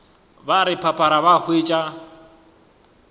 ba re phaphara ba hwetša